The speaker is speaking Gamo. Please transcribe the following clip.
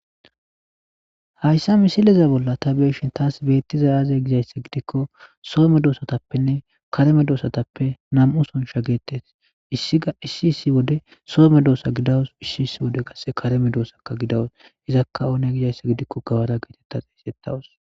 Hayssa misileza bolla ta beeshin taas beetti zayaze gizayssa gidikko soome doosatappenne kareme doosatappe nam'u sonsha geettes issia issi issi wode soome doosa gidawus issi issi wode gasse kareme doosakka gidawus izakka oone gizayssa gidikko gawada geetetta xeesettawus.